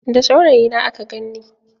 Da saurayina aka ganni.